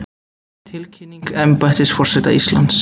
Tilkynning embættis forseta Íslands